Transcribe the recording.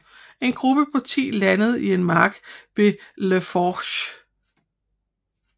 En gruppe på ti landede i en mark ved les Forges